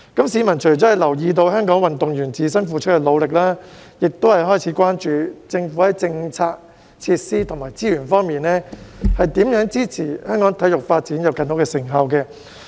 市民除了留意到香港運動員自身付出的努力，亦開始關注政府在政策、設施及資源方面，如何支持香港體育發展，以取得更多成效。